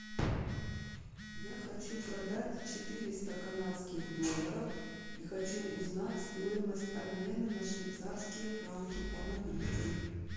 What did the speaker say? я хочу продать четыреста канадских долларов и хочу узнать стоимость обмена на швейцарские франки помогите